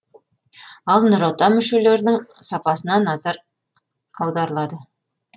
ал нұр отан мүшелерінің сапасына назар аударылады